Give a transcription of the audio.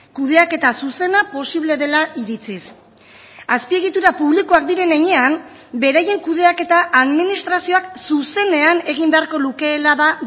kudeaketa zuzena posible dela iritziz azpiegitura publikoak diren heinean beraien kudeaketa administrazioak zuzenean egin beharko lukeela da